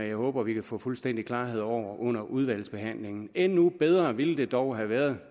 jeg håber vi kan få fuldstændig klarhed over under udvalgsbehandlingen endnu bedre ville det dog have været